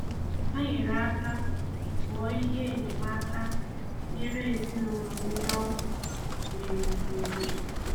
Hà nyere aka bùo ihe enyemáka nyèrè ezinụlọ̀ ndị ọkụ mere n’obodo.